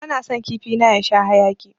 Bana son kifi na ya sha haƴaki.